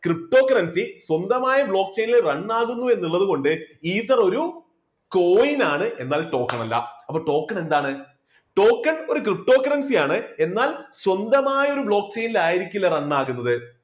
ptocurrency സ്വന്തമായ block chain ല് run ആകുന്നു എന്ന് ഉള്ളത് കൊണ്ട് ether ഒരു coin ആണ് എന്നാൽ token അല്ലാ അപ്പോ token എന്താണ് token ഒരു ptocurrency ആണ് എന്നാൽ സ്വന്തമായ ഒരു block chain ൽ ആയിരിക്കില്ല run ആവുന്നത്.